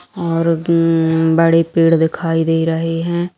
और उम्म बड़े पेड़ दिखाई दे रहें हैं।